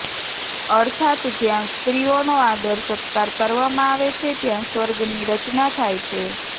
અર્થાત્ જ્યાં સ્ત્રીઓનો આદર સત્કાર કરવામાં આવે છે ત્યાં સ્વર્ગની રચના થાય છે